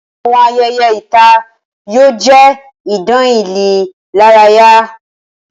Awọn ayẹyẹ ita yoo jẹ idanilaraya.